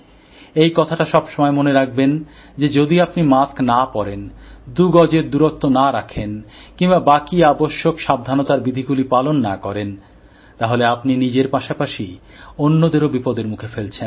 এই কথাটা সবসময় মনে রাখবেন যে যদি আপনি মাস্ক না পরেন দু গজের দুরত্ব না রাখেন কিংবা বাকি আবশ্যক সাবধানতা বিধিগুলি পালন না করেন তাহলে আপনি নিজের পাশাপাশি অন্যদেরও বিপদের মুখে ফেলছেন